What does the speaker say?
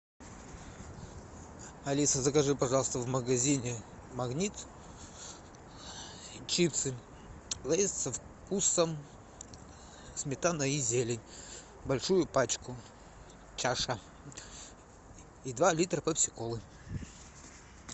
алиса закажи пожалуйста в магазине магнит чипсы лейс со вкусом сметана и зелень большую пачку чаша и два литра пепси колы